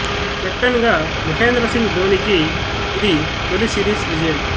captain గా మహేంద్ర సింగ్ ధోనికి ఈది తొలి సీరీస్ విజయం